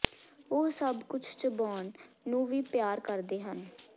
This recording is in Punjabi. ਉਹ ਸਭ ਕੁਝ ਚਬਾਉਣ ਨੂੰ ਵੀ ਪਿਆਰ ਕਰਦੇ ਹਨ